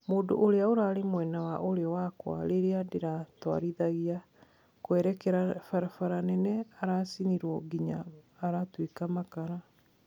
Mũndũ ũria ũrarĩ mwena wa urio wakwa riria ndiratwarithagia kũerekera barabara nene aracinirwo nginya aratwika makara.